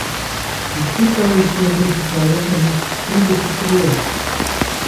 In tukaj se je prisesalo kakih trideset krogel.